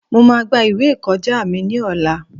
Mo máa gba ìwé ìkọjá mi ní ọ̀la.